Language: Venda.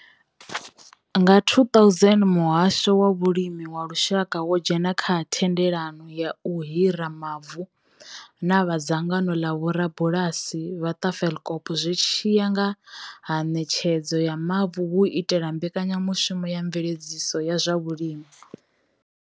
Nga 2000, muhasho wa vhulimi wa lushaka wo dzhena kha thendelano ya u hira mavu na vha dzangano ḽa vhorabulasi vha Tafelkop zwi tshi ya nga ha Ṋetshedzo ya mavu hu u itela mbekanyamushumo ya Mveledziso ya zwa Vhulimi.